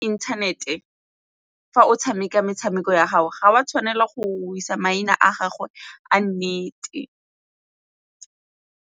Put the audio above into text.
Internet-e fa o tshameka metshameko ya gago ga o a tshwanela go isa maina a gago a nnete.